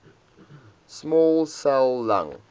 small cell lung